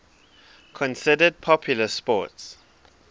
considered popular sports